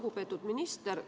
Lugupeetud minister!